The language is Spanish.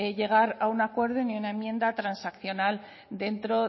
llegar a un acuerdo ni a una enmienda transaccional dentro